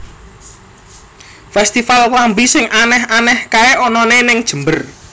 Festival klambi sing aneh aneh kae onone ning Jember